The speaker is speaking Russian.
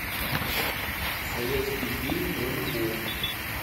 советский фильм про любовь